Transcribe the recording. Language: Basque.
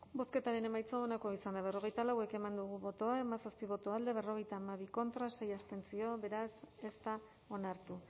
bozketaren emaitza onako izan da hirurogeita hamabost eman dugu bozka hamazazpi boto alde berrogeita hamabi contra sei abstentzio beraz ez da onartu